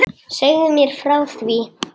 Segðu mér frá því.